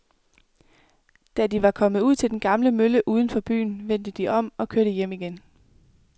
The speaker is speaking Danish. Da de var kommet ud til den gamle mølle uden for byen, vendte de om og kørte hjem igen.